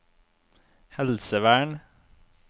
helsevern